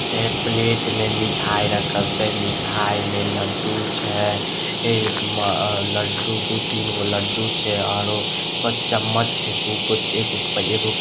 जे प्लेट में मिठाई रखल छै मिठाई में लड्डू छै एह में लड्डू दू-तीनगो लड्डू छै आरु प चम्मच --